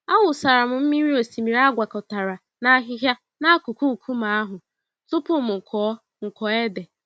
Awụsara m mmiri osimiri agwakọtara na ahịhịa n'akụkụ nkume ahụ tupu m kụọ m kụọ ede.